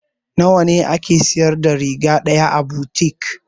Nawa a ke siyar da riga ɗaya a butik?